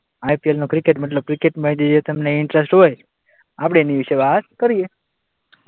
IPL નું cricket મતલબ ક્રિકેટમાં જે જે તમને ઇન્ટરેસ્ટ હોય આપણે એના વિશે વાત કરીએ.